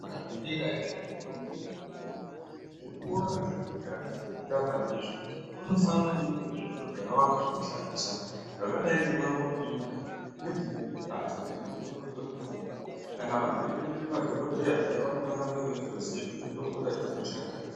Zvikora zvederayo zvendombi nemadhoda zvikora zvekuti hazvisi zvekumbotamba ndizvo. Kunofanira kunge kune zviro zvakawanda zvekushandisa zvakadai ngemangombiyuta nedzimweni mbatso dzinoongororwe mutombo Kana vantu veida kuite madhogodheya zviya vanofane kunge veitoziya kuti mitombo dzacho dzinoshanda zvaka...